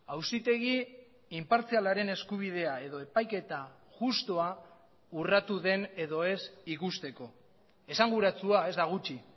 auzitegi inpartzialaren eskubidea edo epaiketa justua urratu den edo ez ikusteko esanguratsua ez da gutxi